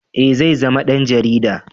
Eh zai zama dan jarida